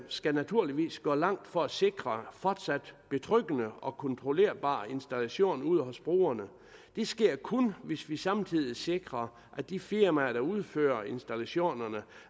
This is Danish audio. skal naturligvis gå langt for at sikre fortsat betryggende og kontrollerbar installation ude hos brugerne det sker kun hvis vi samtidig sikrer at de firmaer der udfører installationerne